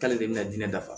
K'ale de bɛna diinɛ dafa